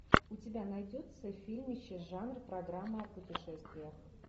у тебя найдется фильмище жанр программа о путешествиях